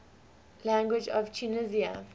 languages of tunisia